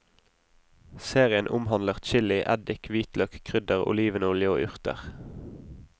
Serien omhandler chili, eddik, hvitløk, krydder, olivenolje og urter.